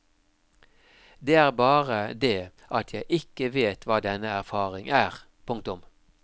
Det er bare det at jeg ikke vet hva denne erfaring er. punktum